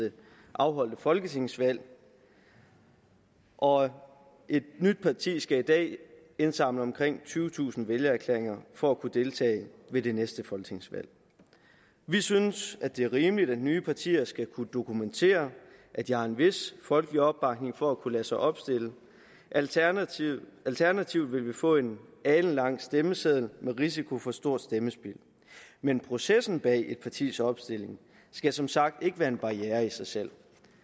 afholdte folketingsvalg og et nyt parti skal i dag indsamle omkring tyvetusind vælgererklæringer for at kunne deltage ved det næste folketingsvalg vi synes at det er rimeligt at nye partier skal kunne dokumentere at de har en vis folkelig opbakning for at kunne lade sig opstille alternativt alternativt vil vi få en alenlang stemmeseddel med risiko for stort stemmespild men processen bag et partis opstilling skal som sagt ikke være en barriere i sig selv